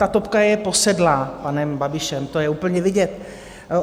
Ta TOPka je posedlá panem Babišem, to je úplně vidět.